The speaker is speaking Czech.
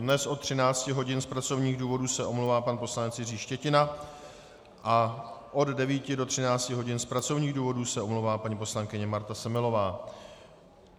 Dnes od 13 hodin z pracovních důvodů se omlouvá pan poslanec Jiří Štětina a od 9 do 13 hodin z pracovních důvodů se omlouvá paní poslankyně Marta Semelová.